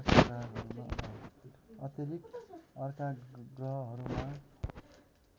अतिरिक्त अर्का ग्रहहरूमा